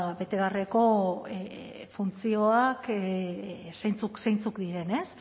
ba bete beharreko funtzioak zeintzuk diren ez